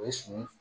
O ye su